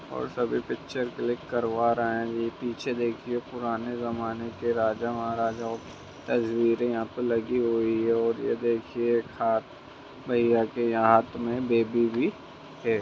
और सभी picture click करवा रहे हैं| ये पीछे देखिए पुराने जमाने की राजा-महाराजाओ तस्वीरें यहाँ पर लगी हुई है| और ये देखिए हाथ भैया के हाथ में बेबी भी है।